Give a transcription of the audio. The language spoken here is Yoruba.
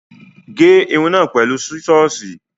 Gé irun náà pẹ̀lú sísọ́ọ̀sì.